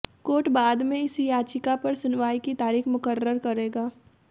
court बाद में इस याचिका पर सुनवाई की तारीख मुकर्रर करेगा